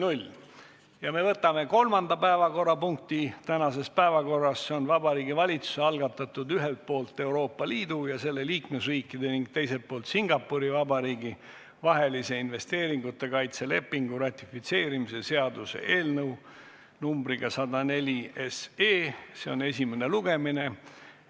Me võtame käsitlusele kolmanda päevakorrapunkti tänases päevakorras, see on Vabariigi Valitsuse algatatud ühelt poolt Euroopa Liidu ja selle liikmesriikide ning teiselt poolt Singapuri Vabariigi vahelise investeeringute kaitse lepingu ratifitseerimise seaduse eelnõu 104 esimene lugemine.